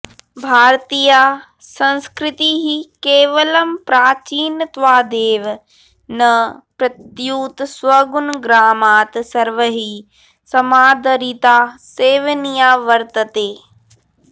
भारतीया संस्कृतिः केवलं प्राचीनत्वादेव न प्रत्युत स्वगुणग्रामात् सर्वैः समादरिता सेवनीया वर्तते